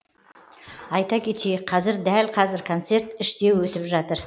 айта кетейік қазір дәл қазір концерт іште өтіп жатыр